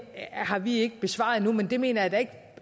har vi ikke besvaret endnu men det mener jeg da